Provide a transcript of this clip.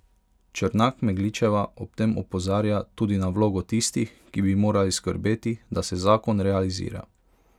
Črnak Megličeva ob tem opozarja tudi na vlogo tistih, ki bi morali skrbeti, da se zakon realizira.